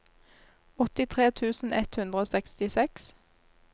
åttitre tusen ett hundre og sekstiseks